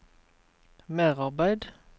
merarbeid